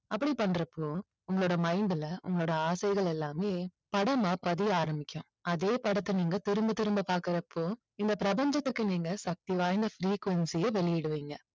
அப்படி பண்றப்போ உங்களோட mind ல உங்களோட ஆசைகள் எல்லாமே படமா பதிய ஆரம்பிக்கும். அதே படத்தை நீங்கள் திரும்பத் திரும்ப பாக்கறப்போ இந்த பிரபஞ்சத்துக்கு நீங்க சக்தி வாய்ந்த frequency ய வெளியிடுவீங்க.